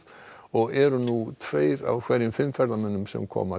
og eru nú tveir af hverjum fimm ferðamönnum sem koma